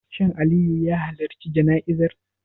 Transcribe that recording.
Shin Aliyu ya halarci jana'izar?